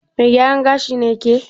Mai gyaran gashi ce ke?